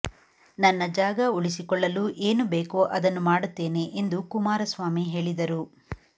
ನನ್ನ ಜಾಗ ಉಳಿಸಿಕೊಳ್ಳಲು ಏನು ಬೇಕೋಅದನ್ನು ಮಾಡುತ್ತೇನೆ ಎಂದು ಕುಮಾರಸ್ವಾಮಿ ಹೇಳಿದರು